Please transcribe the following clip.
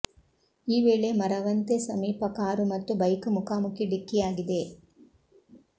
ಈ ವೇಳೆ ಮರವಂತೆ ಸಮೀಪ ಕಾರು ಮತ್ತು ಬೈಕ್ ಮುಖಾಮುಖಿ ಡಿಕ್ಕಿಯಾಗಿದೆ